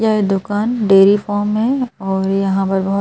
ये है दुकान डेरी फॉर्म है और यहाँ पर बहुत--